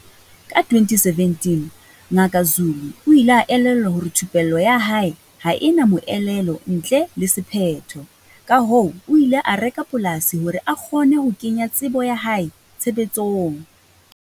Ka 2017, Ngaka Zulu o ile a elellwa hore thupello ya hae ha e na moelelo ntle le sephetho, kahoo o ile a reka polasi hore a kgone ho kenya tsebo ya hae tshebetsong.